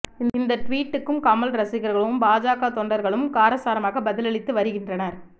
இந்த டுவீட்டுக்கு கமல் ரசிகர்களும் பாஜக தொண்டர்களும் காரசாரமாக பதிலளித்து வருகின்றனர்